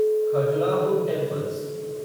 Khajuraho temples